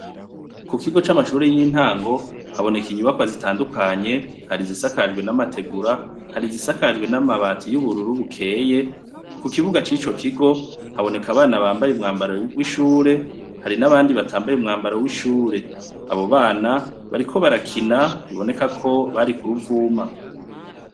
Kukigo c' amashure y' intango, haboneka inyubakwa zitandukanye, hari izisakajwe n' amategura, hari izisakajwe n' amabati y' ubururu bukeye, ku kibuga c' ico kigo , haboneka abana bambaye umwambaro w' ishure, hari n' abandi batambaye umwambaro w' ishure. Bariko barakina biboneka ko bari ku ruvuma.